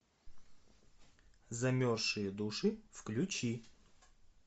замерзшие души включи